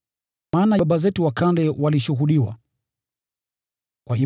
Maana baba zetu wa kale walipongezwa kwa haya.